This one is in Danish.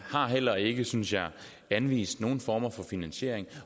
heller ikke synes jeg har anvist nogen former for finansiering